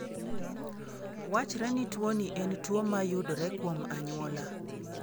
Wachre ni tuoni en tuwo mayudore kuom anyuola.